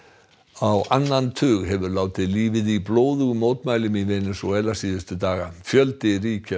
á annan tug hefur látið lífið í blóðugum mótmælum í Venesúela síðustu daga fjöldi ríkja